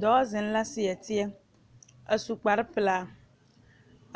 Dɔɔ zeŋ la tie seɛ a su kpar pelaa